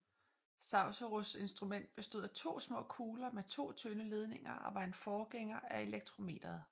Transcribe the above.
Saussures instrument bestod af to små kugler med to tynde ledninger og var en forgænger af elektrometeret